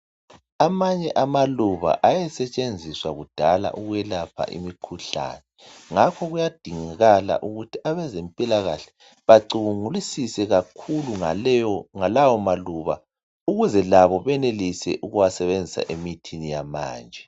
Amanye amaluba ayesetshenziswa kudala ukwelapha imikhuhlane ngakho kuyadingakala ukuthi abazempila kahle bacubungulisise kakhulu ngalawo maluba ukuze labo benelise ukuwasebenzisa emithini yamanje.